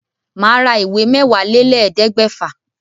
Màá ra ìwé Mẹ́wàálélẹ́ẹ̀ẹ́dẹ́gbẹ́fà.